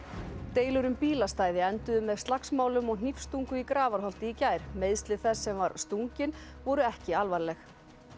deilur um bílastæði enduðu með slagsmálum og í Grafarholti í gær meiðsli þess sem var stunginn voru ekki alvarleg